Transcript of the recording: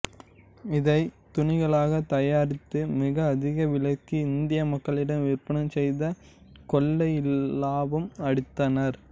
இதை துணிகளாக தயாரித்து மிக அதிக விலைக்கு இந்திய மக்களிடம் விற்பனை செய்து கொள்ளை இலாபம் அடைந்தனர்